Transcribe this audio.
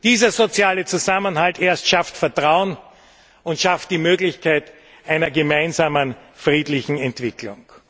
Dieser soziale Zusammenhalt erst schafft Vertrauen und schafft die Möglichkeit einer gemeinsamen friedlichen Entwicklung.